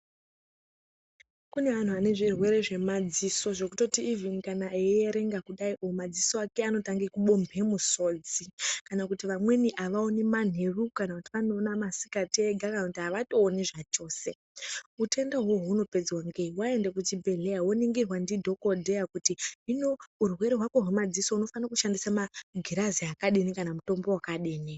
Kune antu ane zvirwere zvemadziso zvekutoti ivhini kana eyierenga kudaio madzisa ake anotange kubomhe musodzi kana kuti vamweni avaoni manheru kana kuti vanoona masikati ega kana kuti avatooni zvachose. Utenda ihoho hunopedzwa ngei, waende kuchibhedhleya woningirwa ndi dhokodheya kuti hino urwere hwako hwemadziso unofanire kushandise magirazi akadini kana mutombo wakadini.